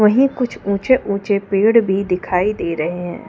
वहीं कुछ ऊंचे ऊंचे पेड़ भी दिखाई दे रहे हैं ।